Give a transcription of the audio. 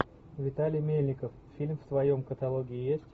виталий мельников фильм в твоем каталоге есть